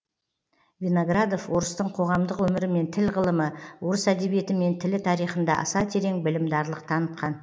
виноградов орыстың қоғамдық өмірі мен тіл ғылымы орыс әдебиеті мен тілі тарихында аса терең білімдарлық танытқан